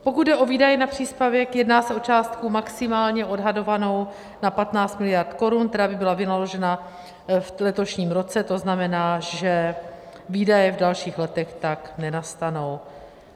Pokud jde o výdaje na příspěvek, jedná se o částku maximálně odhadovanou na 15 miliard korun, která by byla vynaložena v letošním roce, to znamená, že výdaje v dalších letech tak nenastanou.